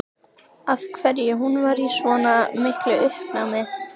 Af hverju hún var í svona miklu uppnámi.